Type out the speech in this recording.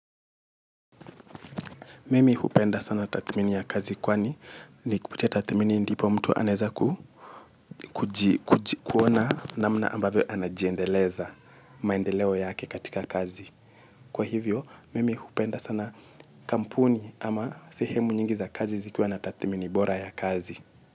Mimi hupenda sana tathmini ya kazi kwani ni kupitia tathmini ndipo mtu anezaku kuona namna ambavyo anajiendeleza maendeleo yake katika kazi. Kwa hivyo, mimi hupenda sana kampuni ama sehemu nyingi za kazi zikuwa na tathmini bora ya kazi.